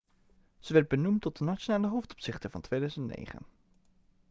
ze werd benoemd tot de nationale hoofdopzichter van 2009